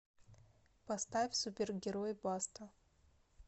поставь супергерой баста